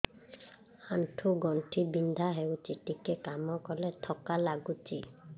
ଆଣ୍ଠୁ ଗଣ୍ଠି ବିନ୍ଧା ହେଉଛି ଟିକେ କାମ କଲେ ଥକ୍କା ଲାଗୁଚି